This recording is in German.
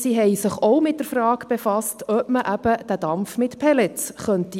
Sie haben sich auch mit der Frage befasst, ob man den Dampf mit Pellets erzeugen könnte.